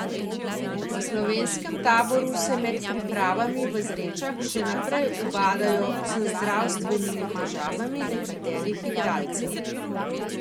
V slovenskem taboru se med pripravami v Zrečah še naprej ubadajo z zdravstvenimi težavami nekaterih igralcev.